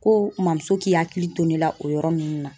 Ko mɔmuso k'i hakili to ne la o yɔrɔ ninnu na